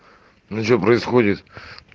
ну что происходит